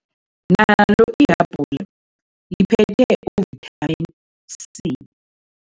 Nalo ihabhula liphethe u-Vitamin C.